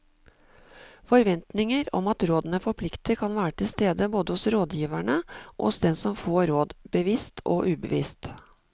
Forventninger om at rådene forplikter kan være til stede både hos rådgiverne og hos den som får råd, bevisst og ubevisst.